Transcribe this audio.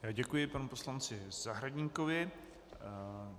Děkuji panu poslanci Zahradníkovi.